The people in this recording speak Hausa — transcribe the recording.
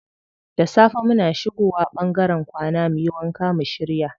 Da safe muna shigo wa ɓangaren kwana muyi wanka mu shirya.